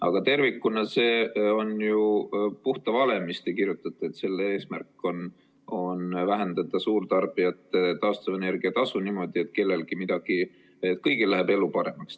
Aga tervikuna see on ju puha vale, mis te kirjutate, et selle eesmärk on vähendada suurtarbijate taastuvenergia tasu niimoodi, et kõigil läheb elu paremaks.